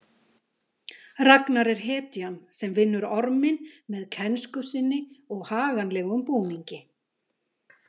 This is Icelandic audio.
Ragnar er hetjan sem vinnur orminn með kænsku sinni og haganlegum búningi .